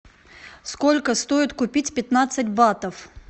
сколько стоит купить пятнадцать батов